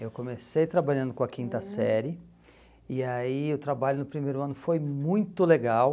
Eu comecei trabalhando com a quinta série e aí o trabalho no primeiro ano foi muito legal.